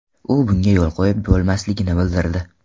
U bunga yo‘l qo‘yib bo‘lmasligini bildirdi.